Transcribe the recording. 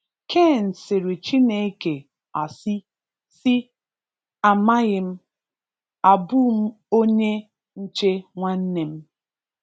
Cain sịrị Chineke asi si, “Amaghi m! Abu m onye nche nwannem?”